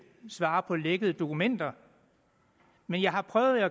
svare på lækkede dokumenter men jeg har prøvet at